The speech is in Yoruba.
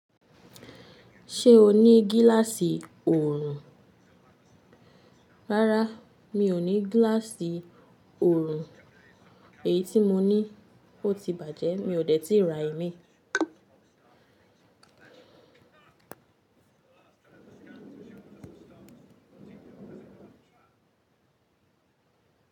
Ṣé o ní gíláàsì oòrùn? Rárá, mi ò ní gíláàsì oòrùn, èyí tí mo ní ò ti bàjẹ́, mi ò dẹ̀ tí ra imí.